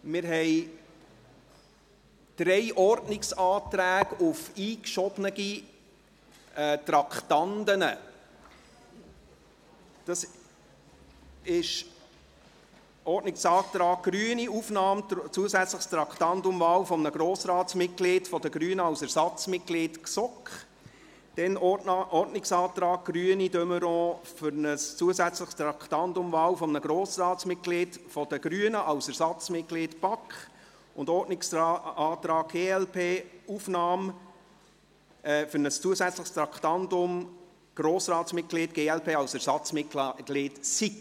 Wir haben drei Ordnungsanträge auf Einschieben von Traktanden, und zwar den Ordnungsantrag Grüne auf Aufnahme eines zusätzlichen Traktandums «Wahl eines Grossratsmitglieds der Grünen als Ersatzmitglied GSoK», der Ordnungsantrag Grüne / de Meuron auf Aufnahme eines zusätzlichen Traktandums «Wahl eines Grossratsmitglieds der Grünen als Ersatzmitglied BaK» sowie den Ordnungsantrag glp auf Aufnahme eines zusätzlichen Traktandums «Wahl eines Grossratsmitglieds der glp als Ersatzmitglied SiK».